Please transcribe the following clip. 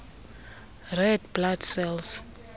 red blood cells